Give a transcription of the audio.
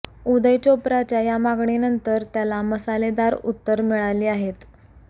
उदय चोप्राच्या या मागणीनंतर त्याला मसालेदार उत्तरं मिळाली आहे